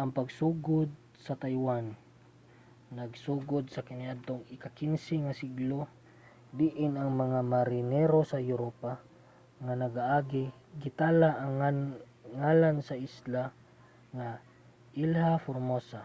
ang pagsugod sa taiwan nagsugod pa kaniadtong ika-15 nga siglo diin ang mga marinero sa europa nga nagaagi gitala ang ngalan sa isla nga ilha formosa